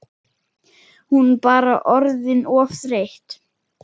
Hún bara orðin of þreytt.